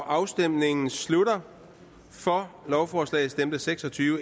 afstemningen slutter for stemte seks og tyve